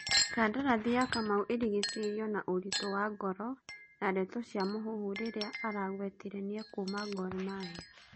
Kandarathi ya Kamau ĩrigiceirio na ũritũ wa ngoro na ndeto cia mũhũhũ rĩrĩa aragwetire nĩekuma Gor Mahia.